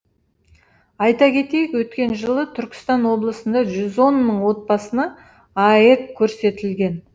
айта кетейік өткен жылы түркістан облысында жүз он мың отбасына аәк көрсетілген